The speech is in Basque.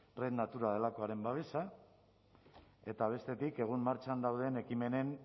red natura delakoaren babesa eta bestetik egun martxan dauden ekimenen